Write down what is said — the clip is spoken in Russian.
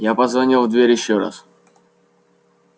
я позвонил в дверь ещё раз